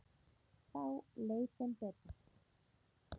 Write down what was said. Þá leið þeim betur